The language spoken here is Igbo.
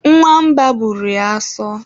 nwa mba bụrụ ya asọ